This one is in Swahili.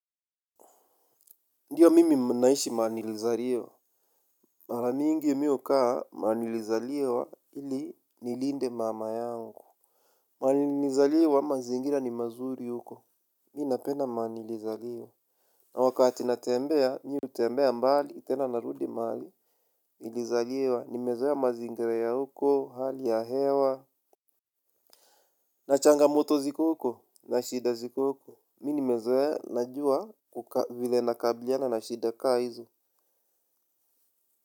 Ndiyo mimi naishi mahali nilizaliwa. Mara mingi mi hukaa mahali nilizaliwa ili nilinde mama yangu. Mahali nilizaliwa mazingira ni mazuri huko. Mi napenda mahali nilizaliwa. Na wakati natembea, mi hutembea mbali, tena narudi mahali nilizaliwa, nimezoea mazingira ya huko, hali ya hewa. Na changa moto ziko huko, na shida ziko huko. Mi nimezoea najua vile nakabliana na shida kaa hizo.